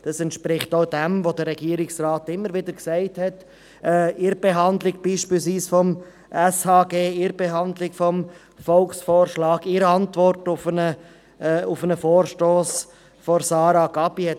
Dies entspricht auch dem, was der Regierungsrat immer wieder gesagt hat, beispielsweise bei der Behandlung des Sozialhilfegesetzes (Gesetz über die öffentliche Sozialhilfe, SHG), in der Behandlung des Volksvorschlags oder in der Antwort auf einen Vorstoss von Grossrätin Gabi.